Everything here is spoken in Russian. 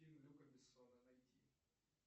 фильм люка бессона найти